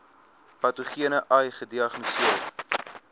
patogene ai gediagnoseer